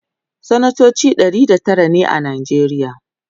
sanatoci Ɗari da Tara ne a najeriya